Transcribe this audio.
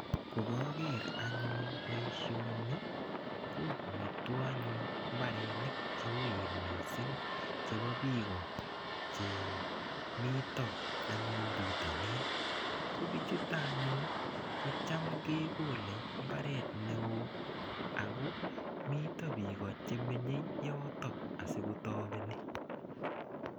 Ko koger anyun boisioni kobwatwo anyun mbarenik cheoen mising chebo biik o chemito anyun bitonin. Kobichuto anyun kocham kogole imbaret neo ago mito biik chemenyei yotok asotapeni.